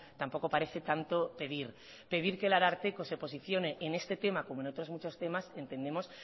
tampoco parece tanto pedir pedir que el ararteko se posicione en este tema como en otros muchos temas entendemos